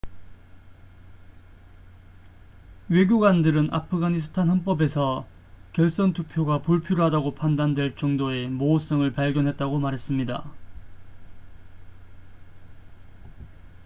외교관들은 아프가니스탄 헌법에서 결선 투표가 불필요하다고 판단될 정도의 모호성을 발견했다고 말했습니다